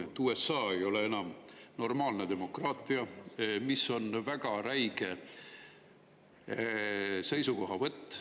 See, et USA ei ole enam normaalne demokraatia, on väga räige seisukohavõtt.